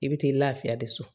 I bɛ t'i lafiya de so